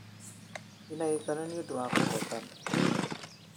ndĩna gĩkeno ni ũndũwa kũhotana